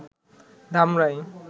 Dhamrai